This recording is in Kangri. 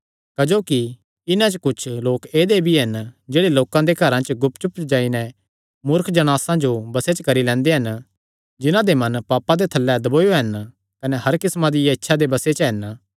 क्जोकि इन्हां च कुच्छ लोक ऐदेय भी हन जेह्ड़े लोकां दे घरां च गुप चुप जाई नैं मूर्ख जणासां जो बसे च करी लैंदे हन जिन्हां दे मन पापां दे थल्लैं दबोयो हन कने हर किस्मां दियां इच्छां दे बसे च हन